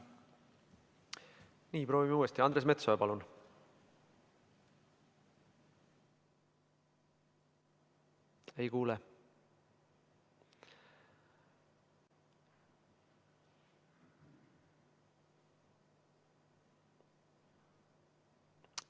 Nii, proovime uuesti: Andres Metsoja, palun!